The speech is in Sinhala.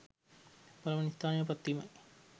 පළමුවන ස්ථානයට පත්වීමයි.